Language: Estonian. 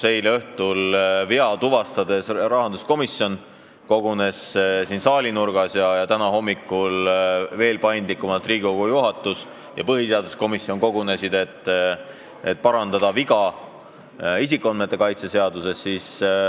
Eile õhtul kogunes pärast eelnõus vea tuvastamist rahanduskomisjon siin saalinurgas ja täna hommikul tegutsesid veel paindlikumalt Riigikogu juhatus ja põhiseaduskomisjon, et parandada viga isikuandmete kaitse seaduses.